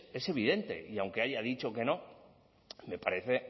es evidente y aunque haya dicho que no me parece